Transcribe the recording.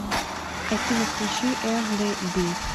афина включи эрли би